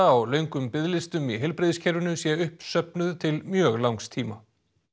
á löngum biðlistum í heilbrigðiskerfinu sé uppsöfnuð til mjög langs tíma